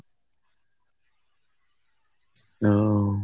হম